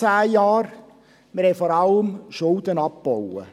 – Wir haben vor allem Schulden abgebaut.